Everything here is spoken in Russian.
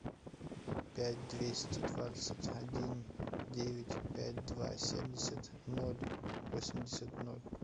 пять двести двадцать один девять пять два семьдесят ноль восемьдесят ноль